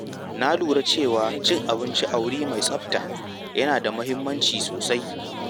Na lura cewa cin abinci a wuri mai tsafta yana da muhimmanci sosai.